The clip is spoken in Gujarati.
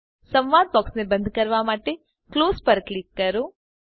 સંવાદ બોક્સને બંધ કરવા માટે ક્લોઝ પર ક્લિક કરો